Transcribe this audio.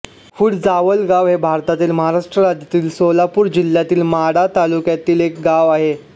फूटजावालगाव हे भारतातील महाराष्ट्र राज्यातील सोलापूर जिल्ह्यातील माढा तालुक्यातील एक गाव आहे